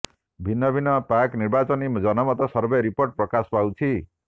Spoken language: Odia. ଭିନ୍ନ ଭିନ୍ନ ପ୍ରାକ୍ ନିର୍ବାଚନୀ ଜନମତ ସର୍ଭେ ରିପୋର୍ଟ ପ୍ରକାଶ ପାଉଛି